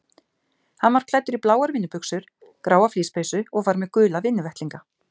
Hann var klæddur í bláar vinnubuxur, gráa flíspeysu og var með gula vinnuvettlinga.